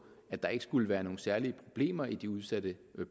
at der ikke skulle være nogen særlige problemer i de udsatte